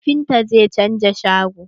Kafintan zai canza shago.